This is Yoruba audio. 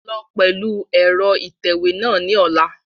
Lọ pẹlu ẹrọ itẹwe náa ni ọla!